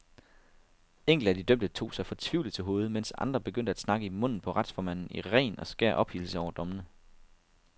Enkelte af de dømte tog sig fortvivlet til hovedet, mens andre begyndte at snakke i munden på retsformanden i ren og skær ophidselse over dommene.